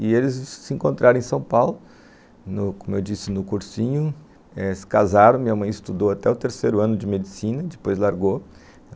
E eles se encontraram em São Paulo, como eu disse no cursinho, se casaram, minha mãe estudou até o terceiro ano de medicina, depois largou.